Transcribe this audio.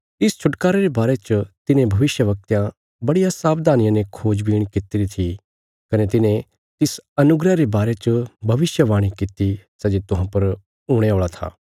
इस छुटकारे रे बारे च तिन्हें भविष्यवक्तयां बड़िया सावधानिया ने खोजबीण कित्तिरी थी कने तिन्हें तिस अनुग्रह रे वारे च भविष्यवाणी कित्ती सै जे तुहां पर हुणे औल़ा था